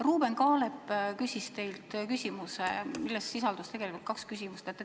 Ruuben Kaalep küsis teilt küsimuse, milles sisaldus tegelikult kaks küsimust.